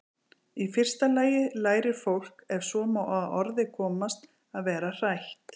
Í fyrsta lagi lærir fólk- ef svo má að orði komast- að vera hrætt.